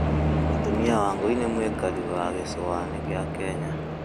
Mũtũmĩa Wangui nĩ mũĩkarĩ wa gicũaĩnĩ gĩa Kenya